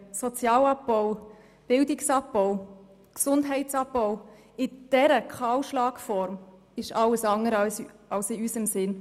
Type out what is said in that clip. Sozialabbau, Bildungsabbau und Gesundheitsabbau in dieser Form eines Kahlschlags sind nicht in unserem Sinn.